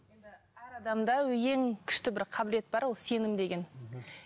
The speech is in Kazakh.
әр адамда ең күшті бір қабілет бар ол сенім деген